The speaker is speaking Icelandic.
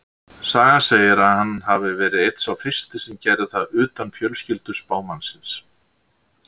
Sagan segir að hann hafi verið einn sá fyrsti sem gerði það utan fjölskyldu spámannsins.